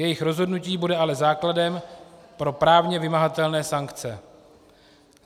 Jejich rozhodnutí bude ale základem pro právně vymahatelné sankce.